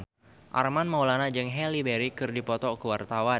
Armand Maulana jeung Halle Berry keur dipoto ku wartawan